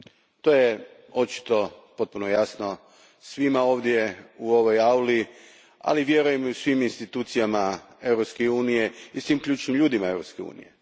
To je potpuno jasno svima ovdje u ovoj auli, ali vjerujem i u svim institucijama Europske unije i svim ključnim ljudima Europske unije.